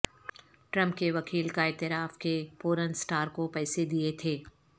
Trump کے وکیل کا اعتراف کہ پورن سٹار کو پیسے دیے تھے